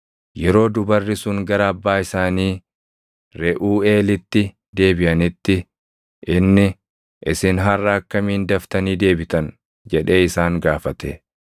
Yeroo dubarri sun gara abbaa isaanii Reʼuuʼeelitti deebiʼanitti, inni, “Isin harʼa akkamiin daftanii deebitan?” jedhee isaan gaafate.